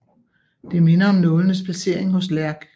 Det minder om nålenes placering hos Lærk